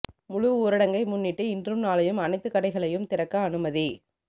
முழு ஊரடங்கை முன்னிட்டு இன்றும் நாளையும் அனைத்துக் கடைகளையும் திறக்க அனுமதி